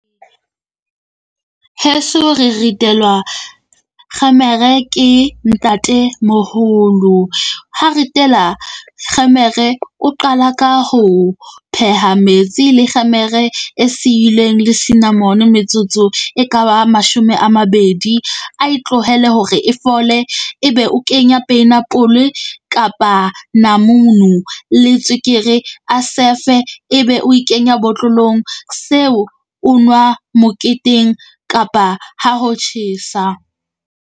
Heso re ritelwa kgemere, ke ntate moholo. Ha ritela kgemere o qala ka ho pheha metsi le kgemere e siileng le sinamone metsotso e ka ba mashome a mabedi. A e tlohele hore e fole, ebe o kenya penapole kapa namunu le tswekere a sefe, ebe o e kenya botlolong. Seo o nwa moketeng kapa ha ho tjhesa.